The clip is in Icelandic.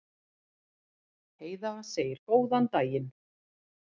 Heiða segir góðan daginn!